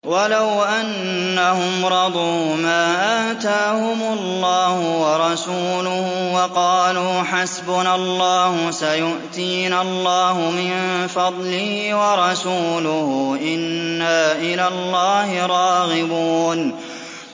وَلَوْ أَنَّهُمْ رَضُوا مَا آتَاهُمُ اللَّهُ وَرَسُولُهُ وَقَالُوا حَسْبُنَا اللَّهُ سَيُؤْتِينَا اللَّهُ مِن فَضْلِهِ وَرَسُولُهُ إِنَّا إِلَى اللَّهِ رَاغِبُونَ